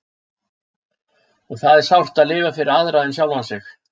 Og það er sárt að lifa fyrir aðra en sjálfa sig.